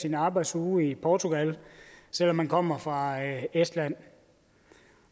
eller arbejdsuge i portugal selv om man kommer fra estland og